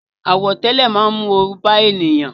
Àwọ̀tẹ́lẹ̀ máa ń mú oru bá ènìyàn